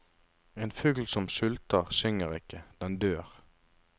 En fugl som sulter, synger ikke, den dør.